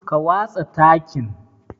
Ka watsa takin.